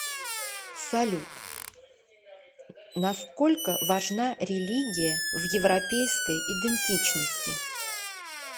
салют насколько важна религия в европейской идентичности